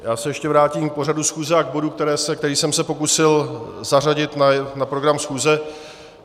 Já se ještě vrátím k pořadu schůze a k bodu, který jsem se pokusil zařadit na program schůze.